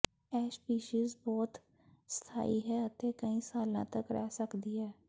ਇਹ ਸਪੀਸੀਜ਼ ਬਹੁਤ ਸਥਾਈ ਹੈ ਅਤੇ ਕਈ ਸਾਲਾਂ ਤੱਕ ਰਹਿ ਸਕਦੀ ਹੈ